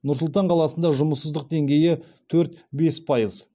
нұр сұлтан қаласында жұмыссыздық деңгейі төрт бес пайыз